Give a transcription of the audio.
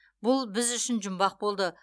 бұл біз үшін жұмбақ болды